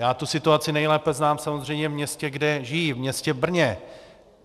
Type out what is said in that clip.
Já tu situaci nejlépe znám samozřejmě v městě, kde žiji, v městě Brně.